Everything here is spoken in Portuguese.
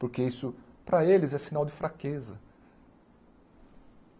Porque isso, para eles, é sinal de fraqueza.